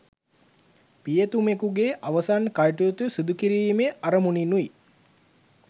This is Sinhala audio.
පියතුමෙකුගේ අවසන් කටයුතු සිදු කිරීමේ අරමුණිනුයි.